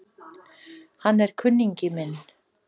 Hann er kunningi minn